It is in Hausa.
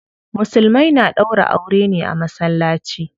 Musulmai na ɗaura aure ne a masallaci.